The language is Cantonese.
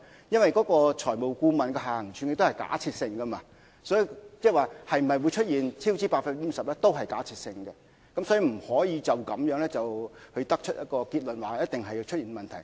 因為財務顧問提出的下行處境是假設性，即是說出現超支 50% 也是假設性的，所以不能因而得出結論說一定會出現問題。